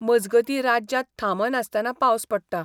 मजगतीं राज्यांत थांबनासतनां पावस पडटा.